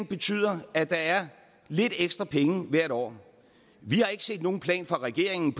betyder at der er lidt ekstra penge hvert år vi har ikke set nogen plan fra regeringen